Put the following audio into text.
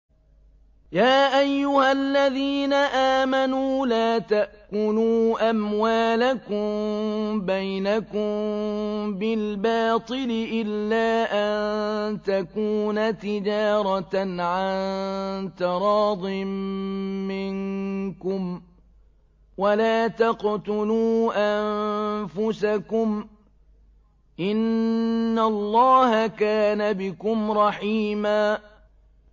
يَا أَيُّهَا الَّذِينَ آمَنُوا لَا تَأْكُلُوا أَمْوَالَكُم بَيْنَكُم بِالْبَاطِلِ إِلَّا أَن تَكُونَ تِجَارَةً عَن تَرَاضٍ مِّنكُمْ ۚ وَلَا تَقْتُلُوا أَنفُسَكُمْ ۚ إِنَّ اللَّهَ كَانَ بِكُمْ رَحِيمًا